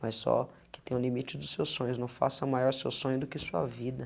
Mas só que tem o limite dos seus sonhos, não faça maior seu sonho do que sua vida.